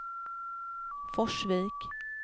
Forsvik